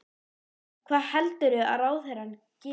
Jóhann: Hvað heldurðu að ráðherrar geri?